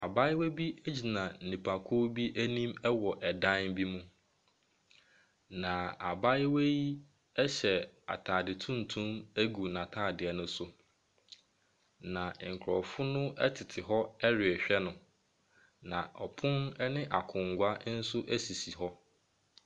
Abaayewa bi egyina nipakuo bi ɛnim ɛwɔ dan bi mu. Na abaayewa yi ɛhyɛ ataade tuntum egu n'ataadeɛ no so. Na nkorɔfo no ɛtete hɔ ɛrehwɛ no. Na ɔpon ɛne akongua esisi hɔ.